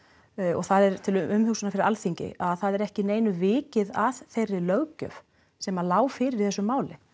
og það er til umhugsunar fyrir Alþingi að það er ekki neinu vikið að þeirri löggjöf sem lá fyrir í þessu máli